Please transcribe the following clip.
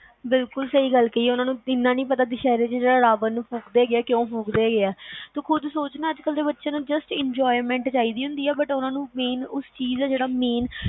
ਬਿਲਕੁਲ ਸਹੀ ਗੱਲ ਕਹਿ ਆ ਓਹਨਾ ਨੂੰ ਏਨਾ ਨੀ ਪਤਾ ਕੇ ਰਾਵਣ ਨੂੰ ਫੂਕਦੇ ਕਯੋ ਆ ਤੂੰ ਖੁਦ ਦੇਖ ਨਾ ਅੱਜ ਕਲ ਦੇ ਬਚੇ ਨੂੰ enjoyment ਚਾਹੀਦੇ ਆ, ਉਹ ਚੀਜ ਨੀ ਪਤਾ